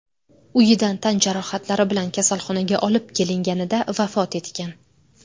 uyidan tan jarohatlari bilan kasalxonaga olib kelinganida vafot etgan.